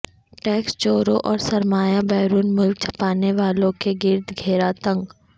tax چوروں اور سرمایہ بیرون ملک چھپانے والوں کے گرد گھیرا تنگ